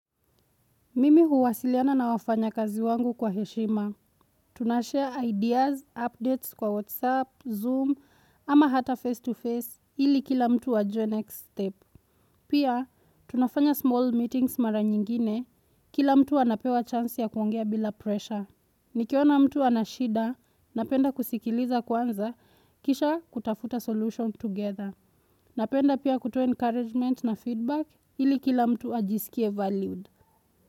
Mimi huwasiliana na wafanyakazi wangu kwa heshima. Tunashare ideas, updates kwa WhatsApp, Zoom, ama hata face-to-face ili kila mtu ajue next step. Pia, tunafanya small meetings mara nyingine, kila mtu anapewa chance ya kuongea bila pressure. Nikiona mtu ana shida, napenda kusikiliza kwanza, kisha kutafuta solution together. Napenda pia kutoa encouragement na feedback ili kila mtu ajisikie valued.